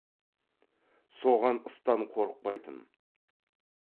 соған ыстан қорықпайтын